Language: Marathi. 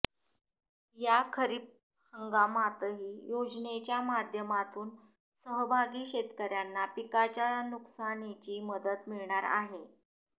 या खरीप हंगामातही योजनेच्या माध्यमातून सहभागी शेतकऱ्यांना पिकाच्या नुकसानीची मदत मिळणार आहे